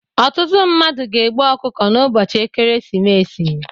Ọtụtụ mmadụ na-egbu ọkụkọ n'ụbọchị ekeresimesi